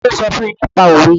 Ta ló sọ fún ẹ nípa òwe?